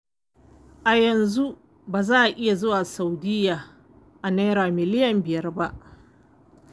Ai yanzu ba a iya zuwa Saudiya a Naira miliyan biyar.